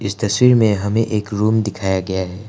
तस्वी में हमें एक रूम दिखाया गया है।